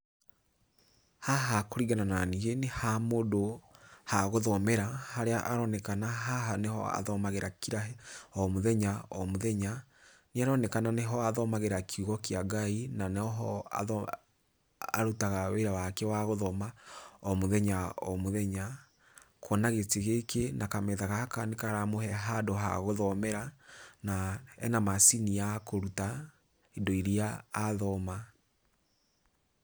Haha kũringana naniĩ nĩ ha mũndũ ha gũthomera, harĩa aronekena haha nĩho athomagĩra kira, o mũthenya o mũthenya, nĩ aronekana nĩho athomagĩra kiugo kĩa Ngai, na noho arutaga wĩra wake wa gũthoma o mũthenya o mũthenya kuona gĩtĩ gĩkĩ na kametha gaka nĩ karamũhe handũ ha gũthomera, na ena macini ya kũruta indo iria athoma.